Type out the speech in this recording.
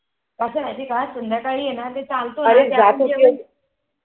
कस आहे माहिती आहे का संध्याकाळी आहे ना ते चालत